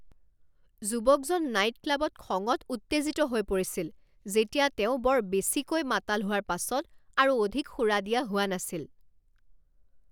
যুৱকজন নাইট ক্লাবত খঙত উত্তেজিত হৈ পৰিছিল যেতিয়া তেওঁ বৰ বেছিকৈ মাতাল হোৱাৰ পাছত আৰু অধিক সুৰা দিয়া হোৱা নাছিল।